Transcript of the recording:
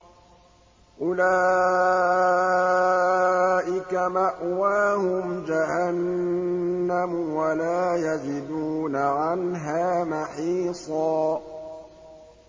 أُولَٰئِكَ مَأْوَاهُمْ جَهَنَّمُ وَلَا يَجِدُونَ عَنْهَا مَحِيصًا